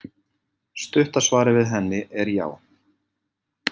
Stutta svarið við henni er já.